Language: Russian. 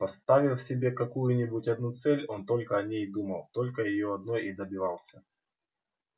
поставив себе какую нибудь одну цель он только о ней и думал только её одной и добивался